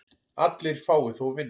Allir fái þó vinnu.